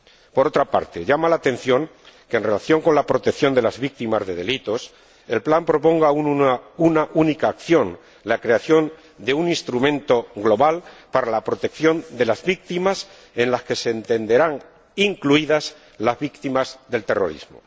Por otra parte, llama la atención que, en relación con la protección de las víctimas de delitos, el plan proponga una única acción la creación de un instrumento global para la protección de las víctimas en las que se entenderán incluidas las víctimas del terrorismo.